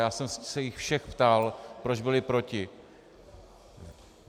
Já jsem se jich všech ptal, proč byli proti.